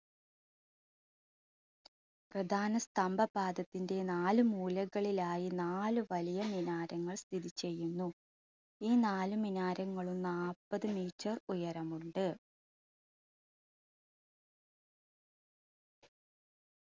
പ്രധാന സ്തംഭ പാദത്തിന്റെ നാല് മൂലകളിലായി നാല് വലിയ മിനാരങ്ങൾ സ്ഥിതി ചെയ്യുന്നു. ഈ നാല് മിനാരങ്ങളും നാൽപത് meter ഉയരമുണ്ട്.